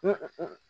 Hɔn